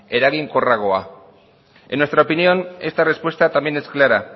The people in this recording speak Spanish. eraginkorragoa en nuestra opinión esta respuesta también es clara